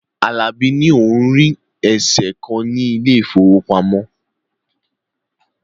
Alabi ní òun rí eèsè kan ní ilé ìfowópamọ́